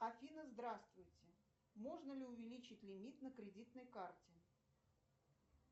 афина здравствуйте можно ли увеличить лимит на кредитной карте